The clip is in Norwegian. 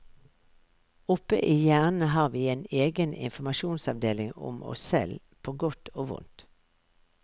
Oppe i hjernen har vi en egen informasjonsavdeling om oss selv på godt og vondt.